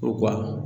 U ka